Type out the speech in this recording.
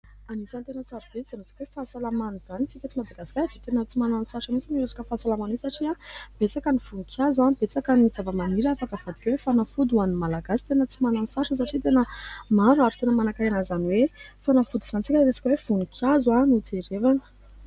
Anisany tena sarobidy izany resaka hoe fahasalamana izany, isika eto Madagasikara dia tena tsy manano sarotra mihitsy amin'io resaka fahasalamana io satria betsaka ny voninkazo, betsaka ny zava-maniry afaka havadika hoe fanafody ho an'ny Malagasy, tena tsy manano sarotra satria tena maro ary tena manakarena an'izany hoe fanafody izany isika raha resaka hoe voninkazo no jerevana.